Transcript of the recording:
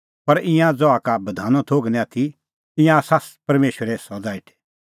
पर ईंयां ज़हा का बधानो थोघ निं आथी ईंयां आसा परमेशरे सज़ा हेठै